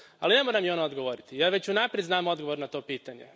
Ali ne mora mi ona odgovoriti. Ja već unaprijed znam odgovor na to pitanje.